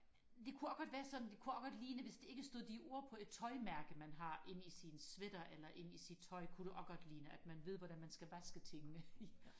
det kunne også godt være sådan det kunne også godt ligne hvis der ikke stod de ord på et tøjmærke man har inde i sin sweater eller inde i sit tøj kunne det også godt ligne at man ved hvordan man skal vaske tingene